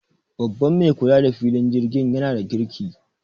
Babban mai kula da filin jirgin yana da kirki